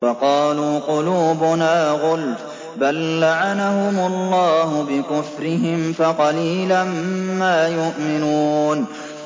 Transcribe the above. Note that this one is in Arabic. وَقَالُوا قُلُوبُنَا غُلْفٌ ۚ بَل لَّعَنَهُمُ اللَّهُ بِكُفْرِهِمْ فَقَلِيلًا مَّا يُؤْمِنُونَ